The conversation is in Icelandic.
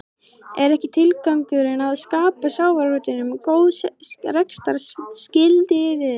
Er ekki tilgangurinn að skapa sjávarútveginum góð rekstrarskilyrði?